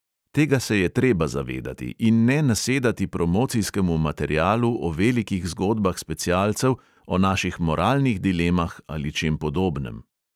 Tega se je treba zavedati in ne nasedati promocijskemu materialu o velikih zgodbah specialcev, o naših moralnih dilemah ali čem podobnem.